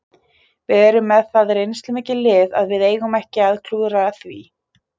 Við erum með það reynslumikið lið að við eigum ekki að klúðra því.